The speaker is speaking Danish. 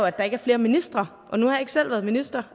at der ikke er flere ministre og nu har jeg ikke selv været minister